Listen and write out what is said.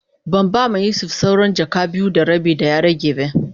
Ban ba ma Yusuf sawran jaka biyu da rabi da ya rage be.